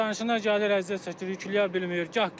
Sərnişinlər gəlir, əziyyət çəkir, yükləyə bilmir.